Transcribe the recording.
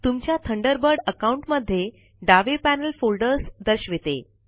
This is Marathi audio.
तुमच्या थंडरबर्ड अकाउंन्ट मध्ये डावे पैनल फोल्डर्स दर्शविते